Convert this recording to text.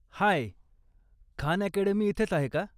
हाय, Khan Academy इथेच आहे का?